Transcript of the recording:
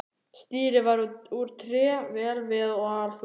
Stýrið var úr tré, vel viðað og allþungt.